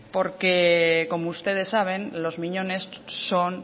porque como ustedes saben los miñones son